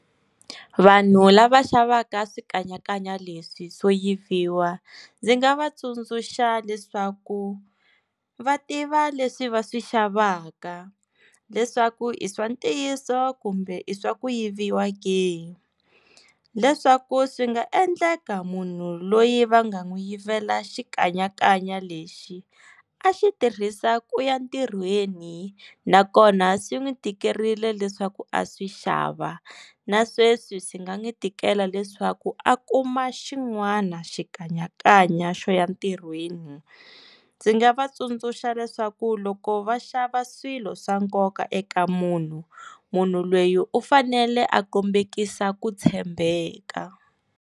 Vanhu lava xavaka swikanyakanya leswi swo yiviwa ndzi nga va tsundzuxa leswaku va tiva leswi va swi xavaka leswaku i swa ntiyiso kumbe i swa ku yiviwa ke leswaku swi nga endleka munhu loyi va nga n'wi yivela xikanyakanya lexi a xi tirhisa ku ya ntirhweni nakona swi n'wi tikerile leswaku a swi xava na sweswi swi nga n'wi tikela leswaku a kuma xin'wana xikanyakanya xo ya ntirhweni ndzi nga va tsundzuxa leswaku loko va xava swilo swa nkoka eka munhu munhu lweyi u fanele a kombekisa ku tshembeka.